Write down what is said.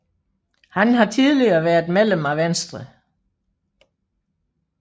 Han har tidligere været medlem af Venstre